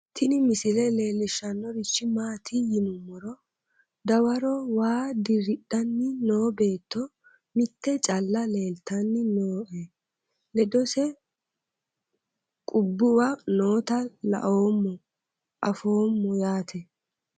Tini misile leellishshannorichi maati yinummoro dawaro waa diridhanni no beetto mitte caalla leeltanni nooe ledose qubbuwa noota laoommo afoomo yaate